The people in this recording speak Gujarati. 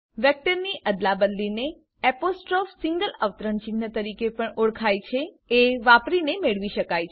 વેક્ટરની અદલાબદલીને એપોસ્ટ્રોફ સિંગલ અવતરણ ચિહ્ન તરીકે પણ ઓળખાવાય છે વાપરીને મેળવી શકાય છે